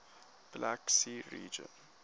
black sea region